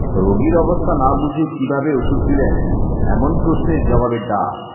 রোগীর অবস্থা না বুঝে কীভাবে ওষুধ দিলেন এমন প্রশ্নের জবাবে ডা